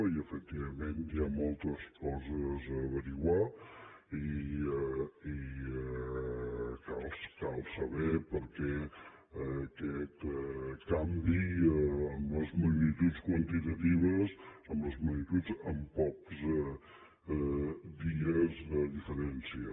i efectivament hi ha moltes coses a esbrinar i cal saber per què aquest canvi en les magnituds quantitatives en les magnituds en pocs dies de diferència